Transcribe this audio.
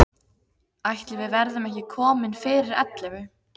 Ætli við verðum ekki komin fyrir ellefu.